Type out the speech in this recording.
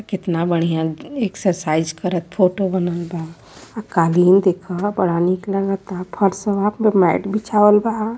केतना बढ़िया एक्सरसाइज करत फोटो बनल बा। आ कालीन देख बड़ा नीक लागता। फर्शवा पर मैट बिछावल बा।